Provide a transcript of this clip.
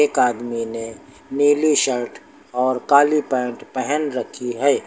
एक आदमी ने नीली शर्ट और काली पैंट पेहन रखी है।